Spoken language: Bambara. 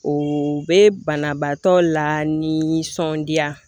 O bɛ banabaatɔ la ni nisɔndiya